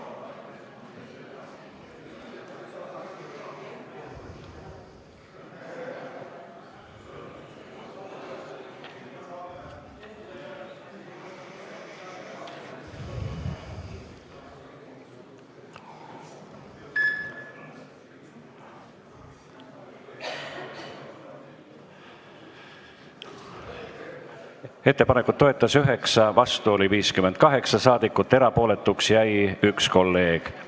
Hääletustulemused Ettepanekut toetas 9 ja vastu oli 58 saadikut, erapooletuks jäi 1 kolleeg.